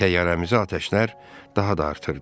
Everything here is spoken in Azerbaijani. Təyyarəmizi atəşlər daha da artırdı.